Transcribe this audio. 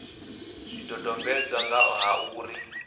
zwidodombedzwa nga ha uri u